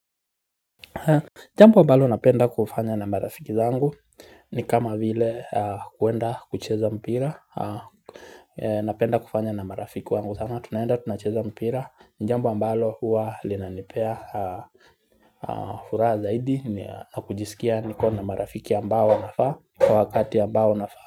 Jambo ambalo napenda kufanya na marafiki zangu ni kama vile kwenda kucheza mpira. Napenda kufanya na marafiki wangu sana tunaenda tunacheza mpira ni jambo ambalo huwa linanipea furaha zaidi na kujisikia niko na marafiki ambao wanafaa. Kwa wakati ambao unafaa.